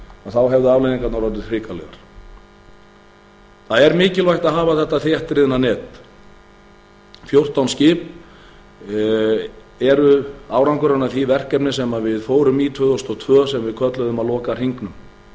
þá hefðu afleiðingarnar orðið hrikalegar það er mikilvægt að hafa þetta þéttriðna net fjórtán skip eru árangurinn af því verkefni sem við fórum í tvö þúsund og tvö sem við köllum að loka hringnum